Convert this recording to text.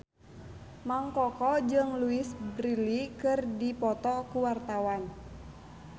Mang Koko jeung Louise Brealey keur dipoto ku wartawan